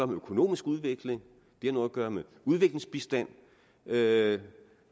med økonomisk udvikling det har noget at gøre med udviklingsbistand det